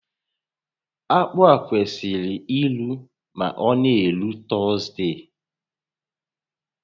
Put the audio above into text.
Akpụ a kwesịrị iru ma ọ na-eru Tọzdee